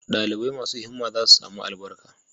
Dalibai masu himma za su sami albarka